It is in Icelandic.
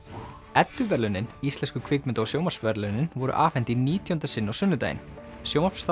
edduverðlaunin íslensku kvikmynda og sjónvarpsverðlaunin voru afhent í nítjánda sinn á sunnudaginn